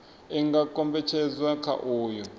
i nga kombetshedzwa kha uyo